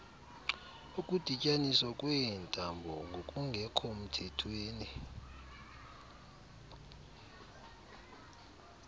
ukudityaniswa kweentambo ngokungekhomthethweni